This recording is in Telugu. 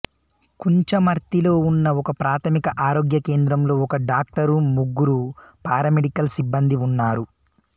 కుంచమర్తిలో ఉన్న ఒకప్రాథమిక ఆరోగ్య కేంద్రంలో ఒక డాక్టరు ముగ్గురు పారామెడికల్ సిబ్బందీ ఉన్నారు